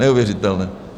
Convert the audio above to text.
Neuvěřitelné.